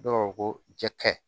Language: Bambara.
Dɔw ko jɛgɛ kaɲi